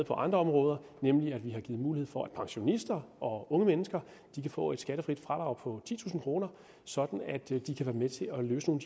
på andre områder nemlig at vi har givet mulighed for at pensionister og unge mennesker kan få et skattefrit fradrag på titusind kr sådan at de kan være med til at løse nogle